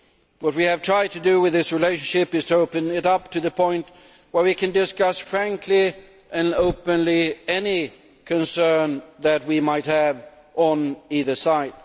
What we have tried to do with this relationship is to open it up to the point where we can discuss frankly and openly any concern that we might have on either side.